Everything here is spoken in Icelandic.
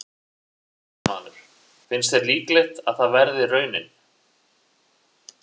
Fréttamaður: Finnst þér líklegt að það verði raunin?